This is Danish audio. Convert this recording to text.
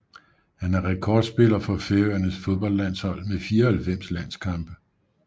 Han er rekordspiller for Færøernes fodboldlandshold med 94 landskampe